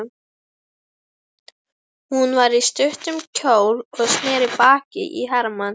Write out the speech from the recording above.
Hún var í stuttum kjól og sneri baki í Hermann.